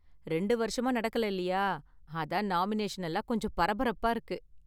ரெண்டு வருஷமா நடக்கல இல்லையா, அதான் நாமினேஷன் எல்லாம் கொஞ்சம் பரபரப்பா இருக்கு.